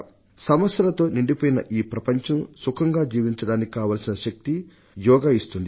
సమస్యలతో నిండిపోయిన ఈ ప్రపంచంలో సుఖంగా జీవించడానికి కావలసిన శక్తిని యోగా ఇస్తుంది